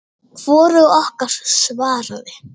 Hvorug okkar svaraði.